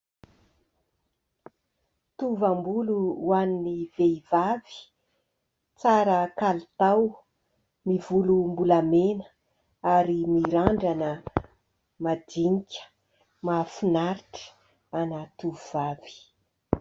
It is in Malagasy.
Tovam-bolo ho an'ny vehivavy tsara kalitao. Miloko volombolamena ary mirandrana madinika, mahafinaritra an'ny tovovavy.